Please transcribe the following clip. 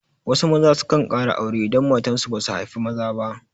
Wasu maza sukan ƙara aure idan matan su basu haifi maza ba.